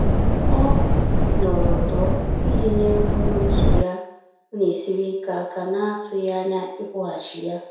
Ọ nọrọ ọdọ iji nyere onye òtù ya ọ na esiri ike aka na-atughi anya ikwughachi ya